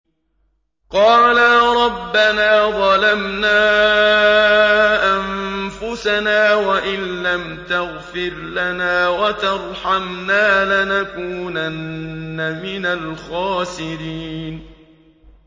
قَالَا رَبَّنَا ظَلَمْنَا أَنفُسَنَا وَإِن لَّمْ تَغْفِرْ لَنَا وَتَرْحَمْنَا لَنَكُونَنَّ مِنَ الْخَاسِرِينَ